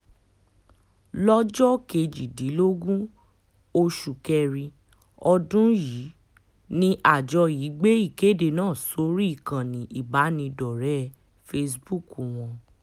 lọ́jọ́ kejìdínlógún oṣù kẹrin ọdún yìí ni àjọ yìí gbé ìkéde náà sórí ìkànnì ìbánidọ́rẹ̀ẹ́ facebook wọn